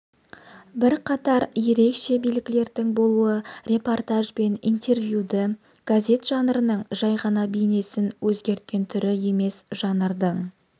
бірқатар ерекше белгілердің болуы репортаж бен интервьюді газет жанрының жай ғана бейнесін өзгерткен түрі емес жанрдың